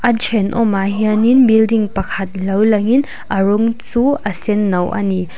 a thenawmah hian in building pakhat lo lang in a rawng chu a senno a ni.